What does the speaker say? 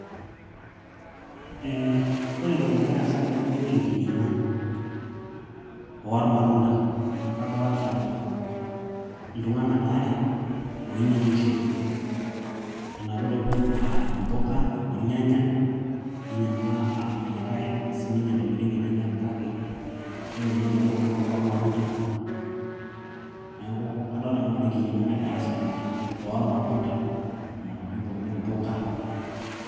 ee ore entoki nagira aasa tenewueji naa enkinyiang'a ormatunda amu kadolta iltung'anak aare oinyiang'ishote enapita obo aa impuka ornyanya ninyiang'ua olikay siininye intokitin enyenak kake ore naa ele duka naa oloormatunda neeku kadolta nanu ajo enkinyiang'a nagira aasa tene oormatunda nena tokitin pookin impuka.